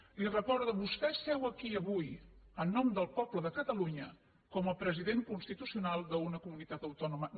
li ho recordo vostè seu aquí avui en nom del poble de catalunya com a president constitucional d’una comunitat autònoma